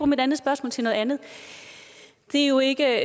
mit andet spørgsmål til noget andet det er jo ikke